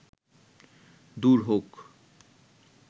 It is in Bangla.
দূর হউক